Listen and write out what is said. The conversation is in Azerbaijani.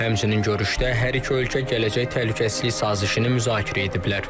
Həmçinin görüşdə hər iki ölkə gələcək təhlükəsizlik sazişini müzakirə ediblər.